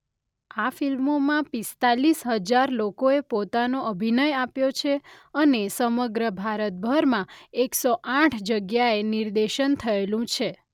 આ ફિલ્મોમાં પિસ્તાલીસ હજાર લોકો એ પોતાનો અભિનય આપ્યો છે અને સમગ્ર ભારતભરમાં એક સો આઠ જગ્યાએ નિર્દેશન થયેલું છે.